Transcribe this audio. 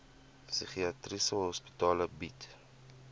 psigiatriese hospitale bied